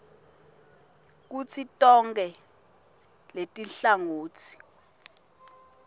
kutsi tonkhe letinhlangotsi